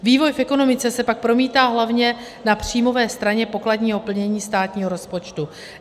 Vývoj v ekonomice se pak promítá hlavně na příjmové straně pokladního plnění státního rozpočtu.